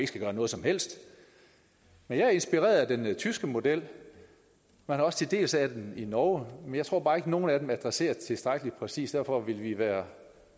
skal gøre noget som helst jeg er inspireret af den tyske model og til dels af den i norge men jeg tror bare ikke at nogen af dem adresserer det tilstrækkelig præcist så derfor vil vi være